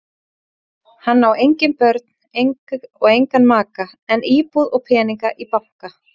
Hann á engin börn og engan maka en íbúð og peninga í banka.